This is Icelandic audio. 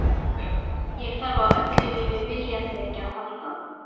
Ég þarf á öllu mínu viljaþreki að halda.